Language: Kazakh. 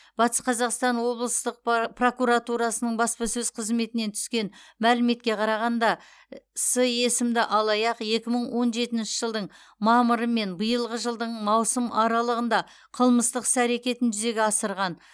батыс қазақстан облыстық пра прокуратурасының баспасөз қызметінен түскен мәліметке қарағанда с есімді алаяқ екі мың он жетінші жылдың мамыры мен биылғы жылдың маусым аралығында қылмыстық іс әрекетін жүзеге асырған